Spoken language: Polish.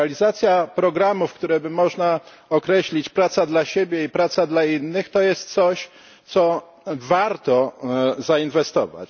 Realizacja programów, które by można określić praca dla siebie i praca dla innych to jest coś, w co warto zainwestować.